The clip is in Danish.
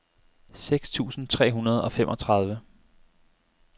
seks tusind tre hundrede og femogtredive